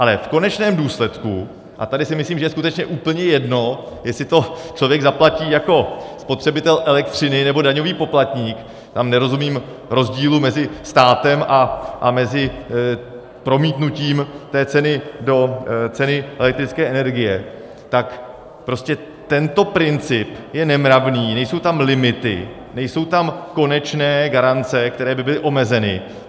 Ale v konečném důsledku - a tady si myslím, že je skutečně úplně jedno, jestli to člověk zaplatí jako spotřebitel elektřiny, nebo daňový poplatník, tam nerozumím rozdílu mezi státem a mezi promítnutím té ceny do ceny elektrické energie, tak prostě tento princip je nemravný, nejsou tam limity, nejsou tam konečné garance, které by byly omezeny.